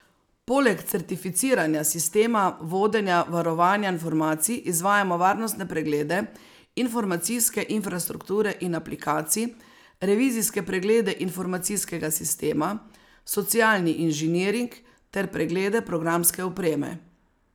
Poleg certificiranja sistema vodenja varovanja informacij izvajamo varnostne preglede informacijske infrastrukture in aplikacij, revizijske preglede informacijskega sistema, socialni inženiring ter preglede programske opreme.